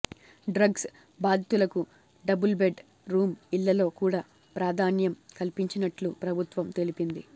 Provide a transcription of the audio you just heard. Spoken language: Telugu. డ్రగ్స్ బాధితులకు డబుల్ బెడ్ రూమ్ ఇళ్లలో కూడా ప్రాధాన్యం కల్పించనున్నట్లు ప్రభుత్వం తెలిపింది